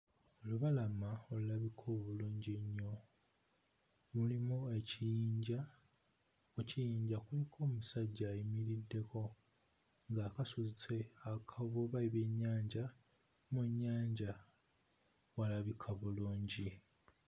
Lubalama olulabika obulungi ennyo, mulimu ekiyinja, mu kiyinja kuliko omusajja ayimiriddeko ng'akasuse akavuba ebyennyanja mu nnyanja walabika bulungi